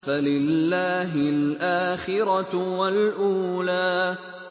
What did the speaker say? فَلِلَّهِ الْآخِرَةُ وَالْأُولَىٰ